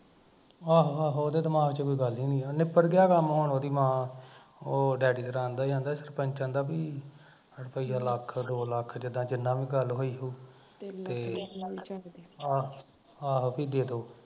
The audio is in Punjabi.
ਆਹੋ ਆਹੋ ਉਹਦੇ ਦਿਮਾਗ ਚ ਕੋਈ ਗੱਲ ਈ ਨੀ ਆ, ਨਿਬੜ ਗਿਆ ਕੰਮ ਹੁਣ ਓਹਦੀ ਮਾਂ ਉਹ ਡੈਡੀ ਤੇਰਾ ਕਹਿੰਦਾ ਸੀ ਕਹਿੰਦਾ ਸਰਪੰਚ ਕਹਿਣਾ ਵੀ ਰੁੱਪਈਆ ਲੱਖ ਦੋ ਲੱਖ ਜਿਦਾਂ ਵੀ ਜਿੰਨੀ ਵੀ ਗੱਲ ਹੋਈ ਹੋਊ ਆਹੋ ਵੀ ਦੇਦੋ